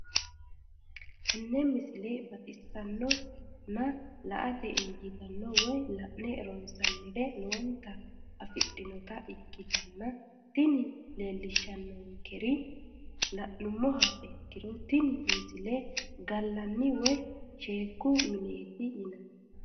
tenne misile baxisannonna la"ate injiitanno woy la'ne ronsannire lowote afidhinota ikkitanna tini leellishshannonkeri la'nummoha ikkiro tini misile gallanni woy sheekku mineeti yinanni.